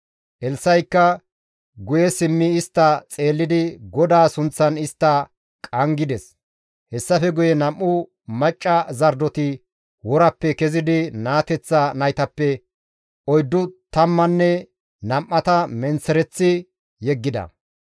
Elssa7ikka guye simmi istta xeellidi GODAA sunththan istta qanggides; hessafe guye nam7u macca zardoti worappe kezidi naateththa naytappe oyddu tammanne nam7ata menththereththi yeggida. Zardo